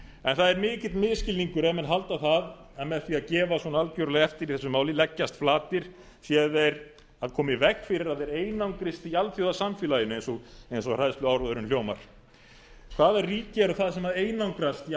en það er mikill misskilningur ef menn halda það að með því að gefa svona algjörlega eftir í þessu máli leggjast flatir séu þeir að koma í veg fyrir að þeir einangrist í alþjóðasamfélaginu eins og hræðsluáróðurinn hljómar hvaða ríki eru það sem einangrast í